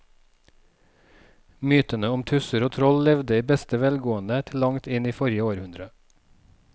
Mytene om tusser og troll levde i beste velgående til langt inn i forrige århundre.